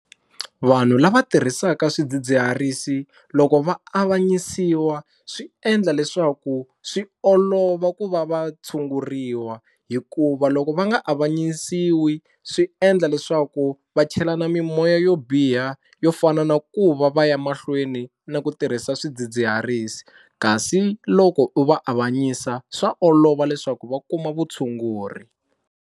Vanhu lava tirhisaka swidzidziharisi loko va avanyisiwa swi endla leswaku swi olova ku va va tshunguriwa hikuva loko va nga avanyisiwi, swi endla leswaku va chelana mimoya yo biha yo fana na ku va va ya mahlweni na ku tirhisa swidzidziharisi kasi loko u va avanyisa swa olova leswaku va kuma vutshunguri.